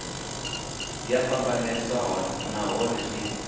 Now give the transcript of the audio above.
dzi a fhambanesa nahone zwi